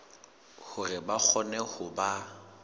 hore ba kgone ho ba